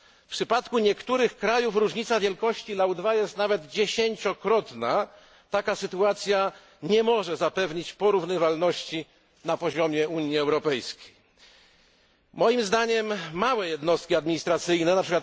W przypadku niektórych państw różnica wielkości LAU 2 jest nawet dziesięciokrotna taka sytuacja nie może zapewnić porównywalności na poziomie Unii Europejskiej. Moim zdaniem należy zastosować małe jednostki administracyjne, np.